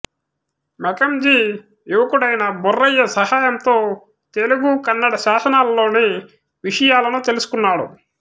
Mackenzie యువకుడైన బొర్రయ్య సహాయంతో తెలుగు కన్నడ శాసనాలలోని విషయాలను తెలుసుకొన్నాడు